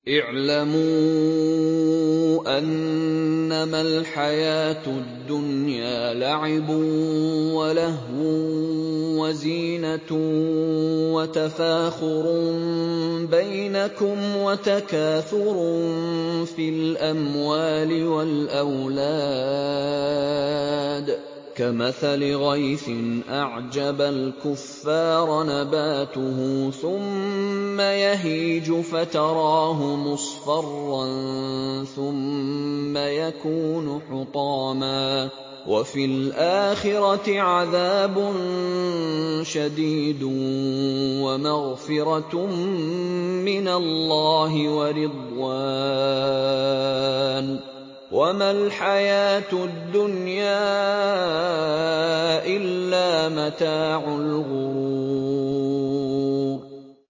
اعْلَمُوا أَنَّمَا الْحَيَاةُ الدُّنْيَا لَعِبٌ وَلَهْوٌ وَزِينَةٌ وَتَفَاخُرٌ بَيْنَكُمْ وَتَكَاثُرٌ فِي الْأَمْوَالِ وَالْأَوْلَادِ ۖ كَمَثَلِ غَيْثٍ أَعْجَبَ الْكُفَّارَ نَبَاتُهُ ثُمَّ يَهِيجُ فَتَرَاهُ مُصْفَرًّا ثُمَّ يَكُونُ حُطَامًا ۖ وَفِي الْآخِرَةِ عَذَابٌ شَدِيدٌ وَمَغْفِرَةٌ مِّنَ اللَّهِ وَرِضْوَانٌ ۚ وَمَا الْحَيَاةُ الدُّنْيَا إِلَّا مَتَاعُ الْغُرُورِ